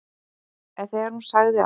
En þegar hún sagði að